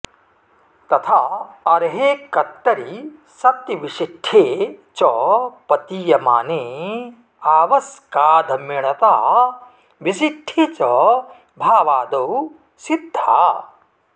तथा अरहे कत्तरि सत्तिविसिट्ठे च पतीयमाने आवस्सकाधमिणता विसिट्ठे च भावादो सिद्धा